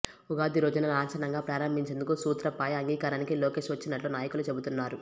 ఉగాది రోజున లాంఛనంగా ప్రారంభించేందుకు సూత్రప్రాయ అంగీకారానికి లోకేష్ వచ్చినట్లు నాయకులు చెబుతున్నారు